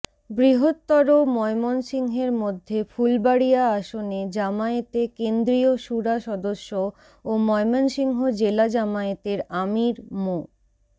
বৃহত্তর ময়মনসিংহের মধ্যে ফুলবাড়িয়া আসনে জামায়াতে কেন্দ্রীয় সুরা সদস্য ও ময়মনসিংহ জেলা জামায়াতের আমীর মো